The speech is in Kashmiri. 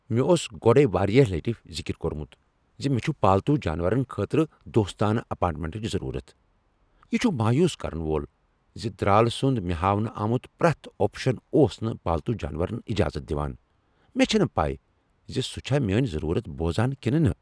مےٚ اوس گۄڈٕے واریاہ لٹہ ذکر کوٚرمت ز مےٚ چھُ پالتو جانورن خٲطرٕ دوستانہٕ اپارٹمنٹٕچ ضرورت۔ یہ چھ مایوس کرن وول ز درال سند مےٚ ہاونہٕ آمت پرٛیتھ آپشن اوس نہٕ پالتو جانورن اجازت دوان۔ مےٚ چھنہٕ پَے ز سہ چھا میٲنۍ ضرورت بوزان کِنہ نہ۔